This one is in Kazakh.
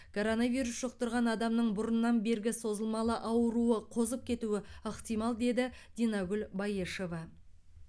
коронавирус жұқтырған адамның бұрыннан бергі созылмалы ауруы қозып кетуі ықтимал деді динагүл баешева